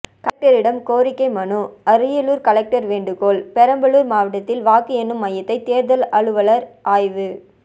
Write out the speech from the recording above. கலெக்டரிடம் கோரிக்கை மனு அரியலூர் கலெக்டர் ேவண்டுகோள் பெரம்பலூர் மாவட்டத்தில் வாக்கு எண்ணும் மையத்தை தேர்தல் அலுவலர் ஆய்வு